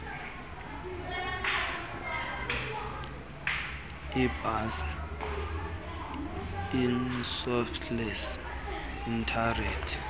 iibhasi ishuttles iimetered